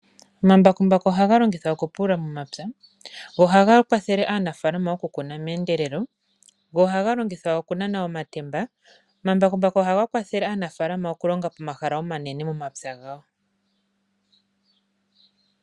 Omambakumbaku ohaga longithwa okupulula omapya, ohaga kwathele aanafaalama okukuna meendelelo go ohaga longithwa okunana omatemba. Omambakumbaku ohaga kwathele aanafaalama okulonga omahala omanene moomapya gawo.